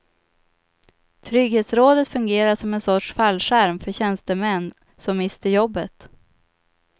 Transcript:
Trygghetsrådet fungerar som en sorts fallskärm för tjänstemän som mister jobbet.